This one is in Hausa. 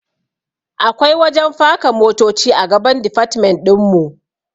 Akwai wajen faka motoci a gaban difatmen ɗinmu